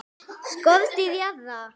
SKORDÝR JARÐAR!